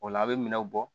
O la a' bɛ minɛnw bɔ